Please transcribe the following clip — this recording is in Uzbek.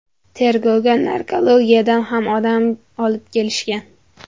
Tergovga narkologiyadan ham odam olib kelishgan.